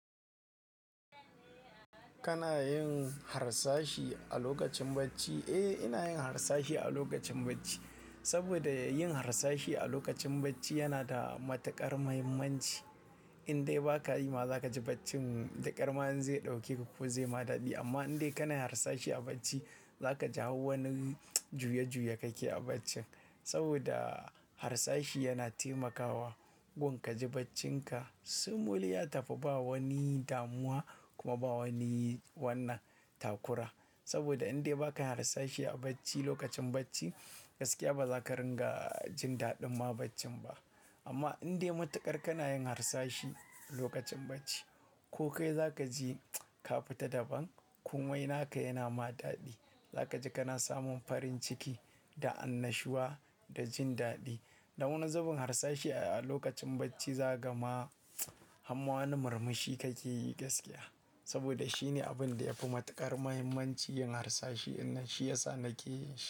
Kana yin harsashi a lokacin bacci? Eh, ina yin harsashi a lokacin bacci. Saboda yin harsashi a lokacin bacci yana da matuƙar mahimmanci. Indai baka yi ma, zaka ji baccin da ƙar ma zai ɗauke ku ko zai ma daɗe. Amma indai kana harsashi a bacci, za ka ji hau wani juya-juya kake a bacci. Saboda harsashi yana taimakawa gun kaji baccinka simul ya tafi ba wani damuwa kuma ba wani wannan takura. Saboda indai baka yi harsashi a bacci lokacin bacci, gaskiya ba za ka ringa jin daɗin ma bacci ba. Amma indai matuƙar kana yin harsashi lokacin bacci, ko kai za ka ji ka fita daban komai na ka yana ma daɗi. Za ka ji kana samun farin ciki da annashuwa da jin daɗi. Dan wani zubin harsashi a lokacin bacci za gaka ma harma wani murmushi kake yi gaskiya. Saboda shine abin da yafi matuƙar mahimmanci yin harsashi, ɗinnan shi yasa nake shi.